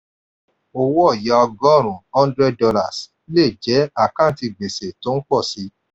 owó ọ̀ya ọgọrun-un hundred dollars le jẹ́ àkántì gbèsè tó ń pọ̀ si.